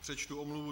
Přečtu omluvu.